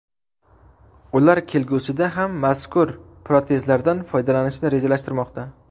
Ular kelgusida ham mazkur protezlardan foydalanishni rejalashtirmoqda.